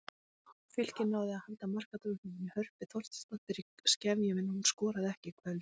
Fylkir náði að halda markadrottningunni Hörpu Þorsteinsdóttur í skefjum en hún skoraði ekki í kvöld.